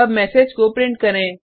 अब मेसेज को प्रिंट करें